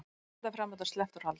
Forsetaframbjóðanda sleppt úr haldi